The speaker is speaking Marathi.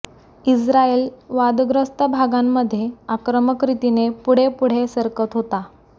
इस्रायल वादग्रस्त भागांमध्ये आक्रमक रितीने पुढे पुढे सरकत होता